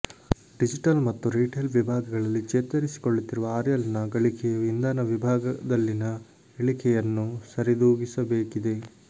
digital ಮತ್ತು retail ವಿಭಾಗಗಳಲ್ಲಿ ಚೇತರಿಸಿಕೊಳ್ಳುತ್ತಿರುವ ಆರ್ಐಎಲ್ನ ಗಳಿಕೆಯು ಇಂಧನ ವಿಭಾಗದಲ್ಲಿನ ಇಳಿಕೆಯನ್ನು ಸರಿದೂಗಿಸಬೇಕಿದೆ